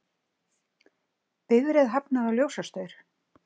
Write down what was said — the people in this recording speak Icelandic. Bifreið hafnaði á ljósastaur